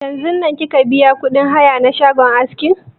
Yanzun nan kika biya kuɗin haya na shagon askin?